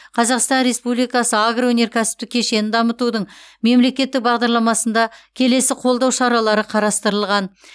қазақстан республикасы агроөнеркәсіптік кешенін дамытудың мемлекеттік бағдарламасында келесі қолдау шаралары қарастырылған